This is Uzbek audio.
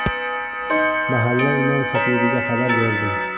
Mahalla imom xatibiga xabar berdim.